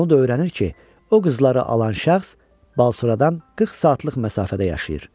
Onu da öyrənir ki, o qızları alan şəxs Balşoradan 40 saatlıq məsafədə yaşayır.